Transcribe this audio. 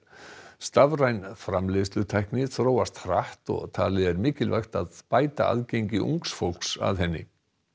stafræn framleiðslutækni þróast hratt og talið er mikilvægt að bæta aðgengi ungs fólks að henni